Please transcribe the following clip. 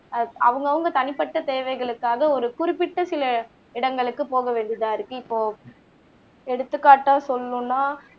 அவங்க அவங்க தனிப்பட்ட தேவைகளுக்காக ஒரு ஒரு குறிப்பிட்ட சில இடங்களுக்கு போக வேண்டியதா இருக்கு இப்போ எடுத்துக்காட்டா சொல்லணும்னா